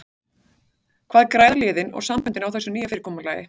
Hvað græða liðin og samböndin á þessu nýja fyrirkomulagi?